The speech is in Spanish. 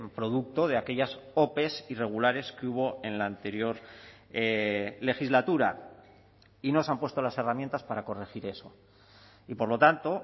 producto de aquellas ope irregulares que hubo en la anterior legislatura y no se han puesto las herramientas para corregir eso y por lo tanto